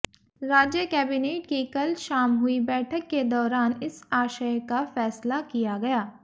राज्य कैबिनेट की कल शाम हुई बैठक के दौरान इस आशय का फैसला किया गया